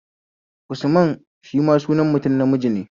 Usman is sunan mutum namiji ne